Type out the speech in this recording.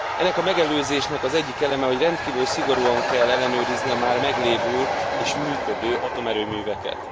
Ennek a megelőzésnek az egyik eleme, hogy rendkívül szigorúan kell ellenőrizni a már meglévő és működő atomerőműveket.